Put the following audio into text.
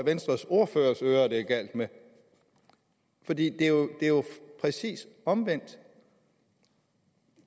venstres ordførers ører det er galt med for det er jo præcis omvendt